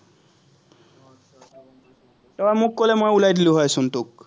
তই মোক কলে, ওলাই দিলো হয় চোন তোক।